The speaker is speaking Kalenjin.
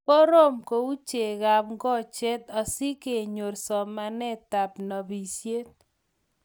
koroom ku chegab ngokchet asigenyor somanetab nobishet